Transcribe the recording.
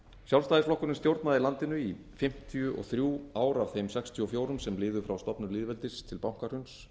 sjálfstæðisflokkurinn stjórnaði landinu í fimmtíu og þriggja ára af þeim sextíu og fjögur sem liðu frá stofnun lýðveldis til bankahruns